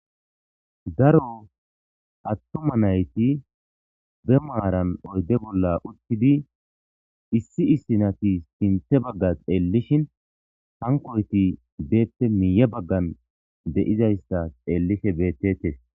Daro atuma nayiti ba marani oyide bola uttidi issi issinati sinththa bagga xeelishshin hanikoyiti bappe mile baggani deizayisa xeelishe beteteesi